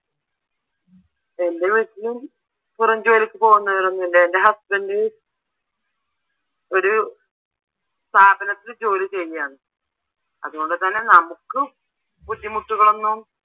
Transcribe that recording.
എൻ്റെ വീട്ടില് പുറംജോലിക്ക് പോകുന്നവരൊന്നും ഇല്ല. എൻ്റെ husband ഒരു സ്ഥാപനത്തിൽ ജോലി ചെയ്യാണ്, അതുകൊണ്ടുതന്നെ നമുക്ക് ബുദ്ധിമുട്ടുകളൊന്നും